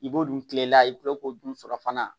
I b'o dun kile la i tila k'o dun sɔrɔ fana